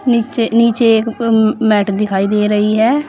नीचे एक मैट दिखाई दे रही है।